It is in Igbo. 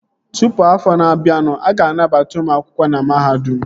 Tụpụ afọ na-abịanụ, a ga-anabata ụmụ akwụkwọ ọhụrụ na mahadum